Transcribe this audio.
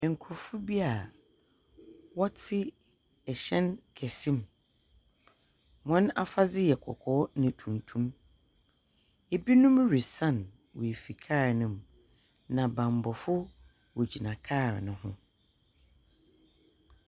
Nkorɔfo bi a wɔtse hyɛn kɛse mu. Hɔn afadze yɛ kɔkɔɔ na tuntum. Binom resian woefi kaal no mu. Na banbɔfo wogyina kaal no ho.